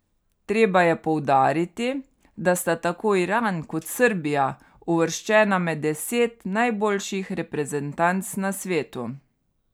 Treba je poudariti, da sta tako Iran kot Srbija uvrščena med deset najboljših reprezentanc na svetu.